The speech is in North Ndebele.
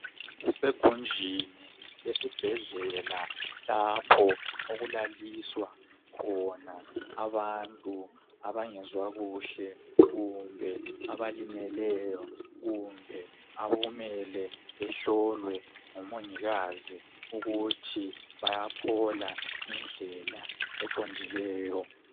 Kusegunjini lesibhedlela lapho okulaliswa khona abantu abangezwa kuhle kumbe abalimeleyo kumbe okumele behlolwe ngumongikazi ukuthi bayaphola ngendlela eqondileyo.